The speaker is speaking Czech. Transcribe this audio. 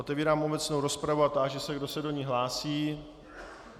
Otevírám obecnou rozpravu a táži se, kdo se do ní hlásí.